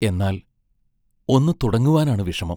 എന്നാൽ, ഒന്നു തുടങ്ങുവാനാണു വിഷമം.